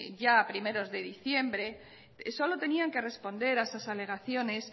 ya a primeros de diciembre solo tenían que responder a esas alegaciones